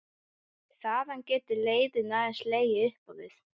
Þaðan getur leiðin aðeins legið upp á við.